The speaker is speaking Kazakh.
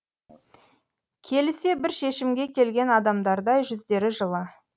келісе бір шешімге келген адамдардай жүздері жылы